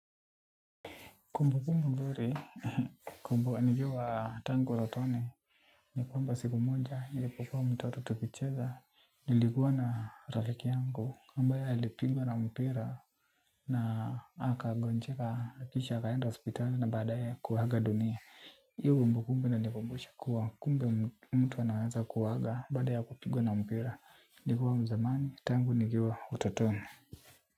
Kumbu kumbu mburi, kumbu nikiwaa tangu utotoni, ni kwamba siku moja, nilipokuwa mtoto tukicheza, nilikuwa na rafiki yangu, ambae alipigwa na mpira, na akagonjeka, kisha, akaenda hospitali na badae kuaga dunia. Iyo kumbu kumbu inanikumbusha kuwa kumbe mtu anaweza kuaga baada ya kupigwa na mpira, nikiwa mzamani, tangu nikiwa utotoni.